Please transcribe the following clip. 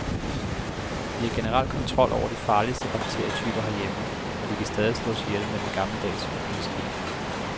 Vi har generelt kontrol over de farligste bakterietyper herhjemme, og de kan stadig slås ihjel med den gammeldags og penicillin.